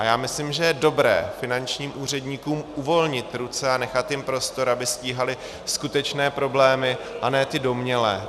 A já myslím, že je dobré finančním úředníkům uvolnit ruce a nechat jim prostor, aby stíhali skutečné problémy a ne ty domnělé.